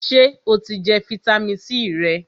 Sè o ti jẹ fitamisi C rẹ?